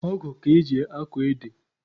Ọgụ ka eji akọ ede.